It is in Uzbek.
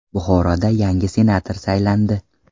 Buxoroda yangi senator saylandi.